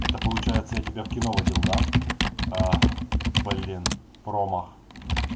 это получается я тебя в кино водил да а блин промах